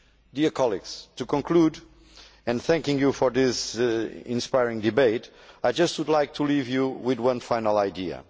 Dear colleagues, in conclusion and thanking you for this inspiring debate I would just like to leave you with one final idea.